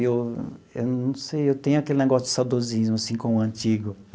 Eu eu não sei, eu tenho aquele negócio de saudosismo assim com o antigo.